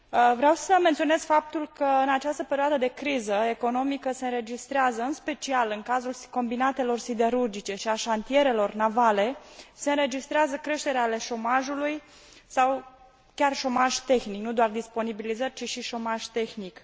Vreau să menționez faptul că în această perioadă de criză economică se înregistrează, în special în cadrul combinatelor siderurgice și al șantierelor navele, creșteri ale șomajului sau chiar șomaj tehnic nu doar disponibilizări, ci și șomaj tehnic.